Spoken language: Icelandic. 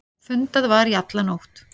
Fundað var í alla nótt.